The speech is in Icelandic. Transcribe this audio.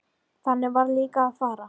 Þannig varð líka að fara.